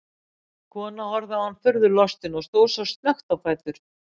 Konan horfði á hana furðu lostin og stóð svo snöggt á fætur.